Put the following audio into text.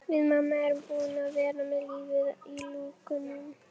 Við mamma erum búin að vera með lífið í lúkunum.